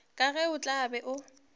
ka ge a tla be